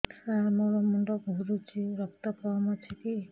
ସାର ମୋର ମୁଣ୍ଡ ଘୁରୁଛି ରକ୍ତ କମ ଅଛି କି